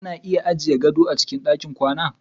Ana iya ajiye gado a cikin ɗakin kwana.